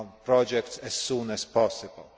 project as soon as possible.